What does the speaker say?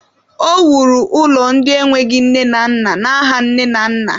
O wuru ụlọ ndị enweghị nne na nna n'aha nne na nna.